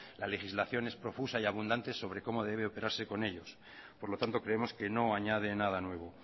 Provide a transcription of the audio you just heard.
la legislación es profusa y abundante sobre como debe operarse con ellos por lo tanto creemos que no añade nada nuevo